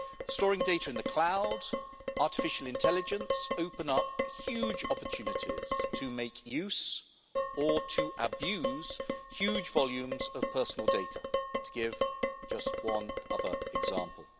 Storing data in the cloud and artificial intelligence open up huge opportunities to make use of, or to abuse, huge volumes of personal data, to give just one other example.